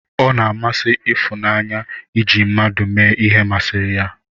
O na-amasị Ifunanye iji ndị mmadụ eme ihe ma siri ya.